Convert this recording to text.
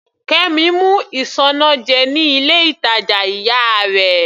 Kemi mú isanaje ní ilé ìtàjà ìyá rẹ̀.